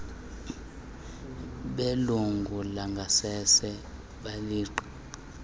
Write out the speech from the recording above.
belungu langasese lebhinqa